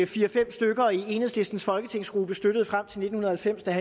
fire fem stykker i enhedslistens folketingsgruppe støttede frem til nitten halvfems der